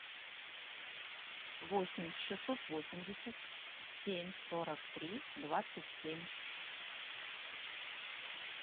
восемь шестьсот восемьдесят семь сорок три двадцать семь